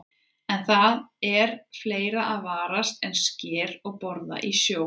En það er fleira að varast en sker og boða í sjó.